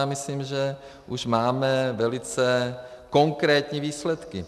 A myslím, že už máme velice konkrétní výsledky.